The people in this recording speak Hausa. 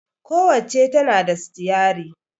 Ku wacca tana da sitiyari